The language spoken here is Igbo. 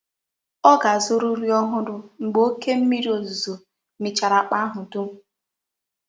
Ọ ga-azụrụ nri ọhụrụ mgbe oké mmiri ozuzo michara akpa ahụ dum.